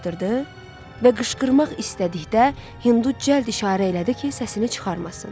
və qışqırmaq istədikdə Hindu cəld işarə elədi ki, səsini çıxarmasın.